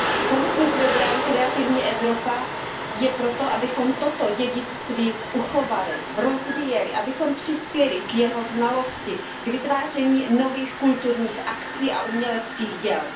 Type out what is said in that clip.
Samotný program Kreativní Evropa je pro to, abychom toto dědictví uchovali, rozvíjeli, abychom přispěli k jeho znalosti, k vytváření nových kulturních akcí a uměleckých děl.